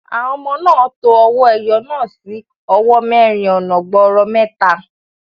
Àwọn ọmọ náà to owó ẹyọ náà sí owó mẹ́rin ọ̀nà gbọọrọ mẹ́ta.